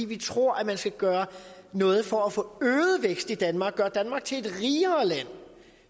vi tror at man skal gøre noget for at få øget vækst i danmark og gøre danmark til et rigere land